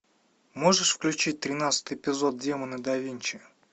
можешь включить тринадцатый эпизод демоны да винчи